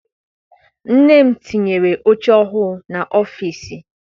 Nne m tinyere oche ọhụụ n'ọfịịsi.